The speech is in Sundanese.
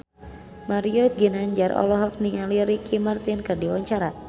Mario Ginanjar olohok ningali Ricky Martin keur diwawancara